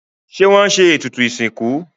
Ṣé wọ́n se ètùtù ìsìnkú?